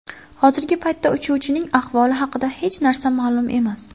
Hozirgi paytda uchuvchining ahvoli haqida hech narsa ma’lum emas.